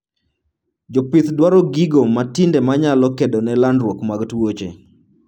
Jopith dwaro gigo matinde manyalo kedone landruok mag tuoche